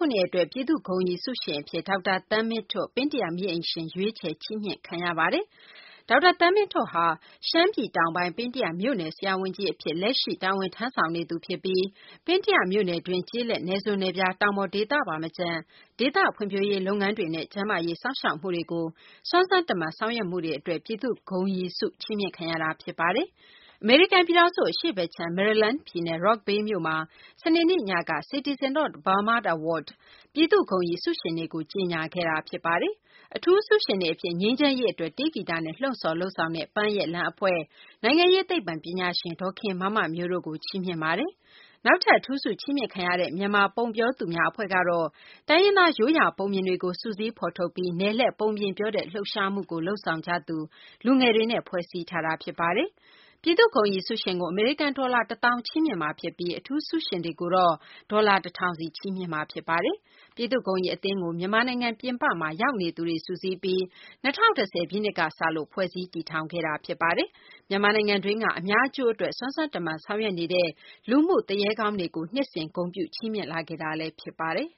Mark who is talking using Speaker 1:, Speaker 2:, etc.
Speaker 1: ုနှစ်အတွက် ပြည်သူ့ဂုဏ်ရည်ဆုရှင်အဖြစ် ဒေါက်တာ သန်းမင်းထွဋ် (ပင်းတယ မီးအိမ်ရှင်) ရွေးချယ် ချီးမြှင့်ခံရပါတယ်။ ဒေါက်တာသန်းမင်းထွဋ်ဟာ ရှမ်းပြည်တောင်ပိုင်း၊ ပင်းတယမြို့နယ် ဆရာဝန်ကြီးအဖြစ် လက်ရှိ တာဝန်ထမ်းဆောင်နေသူဖြစ်ပြီး ပင်းတယမြို့နယ်တွင်း ကျေးလက် နယ်စွန် နယ်ဖျား တောင်ပေါ် ဒေသပါမကျန် ဒေသဖွံ့ဖြိုးရေးလုပ်ငန်းတွေနဲ့ ကျန်းမာရေးစောင့်ရှောက်မှုကိုစွမ်းစွမ်းတမံ ဆောင်ရွက်မှုတွေ အတွက် ပြည်သူ့ဂုဏ်ရည်ဆု ချီးမြှင့်ခံရတာ ဖြစ်ပါတယ်။ အမေရိကန်ပြည်ထောင်စု အရှေ့ဘက်ခြမ်း မေရီလန်းဒ်ပြည်နယ် Rockville မြို့မှာ စနေနေ့ညက Citizen of Burma Award ပြည်သူ့ဂုဏ်ရည် ဆုရှင်တွေကို ကြေညာခဲ့တာ ဖြစ်ပါတယ်။ အထူးဆုရှင်တွေအဖြစ် ငြိမ်းချမ်းရေးအတွက် တေးဂီတနဲ့ လှုံ့ဆော် လုပ်ဆောင်တဲ့ ပန်းရဲ့လမ်းအဖွဲ့၊ နိုင်ငံရေးသိပ္ပံပညာရှင် ဒေါ်ခင်မမမျိုးတို့ကို ချီးမြှင့်ခဲ့ပါတယ်။ နောက်ထပ် အထူးဆု ချီးမြှင့်ခံရတဲ့ မြန်မာ ပုံပြောသူများအဖွဲ့ကတော့ တိုင်းရင်းသား ရိုးရာပုံပြင်တွေကို စုစည်း ဖော်ထုတ်ပြီး နယ်လှည့်ပုံပြင်ပြောတဲ့ လှုပ်ရှားမှုကို လုပ်ဆောင်ကြသူ လူငယ်တွေနဲ့ ဖွဲ့စည်းထားတာ ဖြစ်ပါ တယ်။ ပြည်သူ့ဂုဏ်ရည်ဆုရှင်ကို အမေရိကန် ဒေါ်လာ ၁၀,၀၀၀ ချီးမြှင့်မှာဖြစ်ပြီး အထူးဆုရှင်တွေကိုတော့ ဒေါ်လာ ၁,၀၀၀ စီ ချီးမြှင့်မှာ ဖြစ်ပါတယ်။ ပြည်သူ့ဂုဏ်ရည်အသင်းကို မြန်မာနိုင်ငံပြင်ပမှာရောက်နေသူတွေ စုစည်းပြီး ၂၀၁၀ ပြည့်နှစ်ကစလို့ ဖွဲ့စည်း တည်ထောင်ခဲ့တာပါ။ မြန်မာနိုင်ငံတွင်းက အများအကျိုးအတွက် စွမ်းစွမ်းတမံ ဆောင်ရွက်နေတဲ့ လူမှုသူရဲကောင်းတွေကို နှစ်စဉ် ဂုဏ်ပြုချီးမြှင့်လာခဲ့တာဖြစ်ပါတယ်။